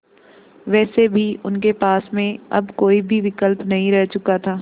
वैसे भी उनके पास में अब कोई भी विकल्प नहीं रह चुका था